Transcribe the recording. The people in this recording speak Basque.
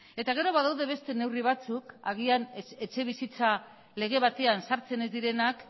eta gero badaude beste neurri batzuk agian etxebizitza lege batean sartzen ez direnak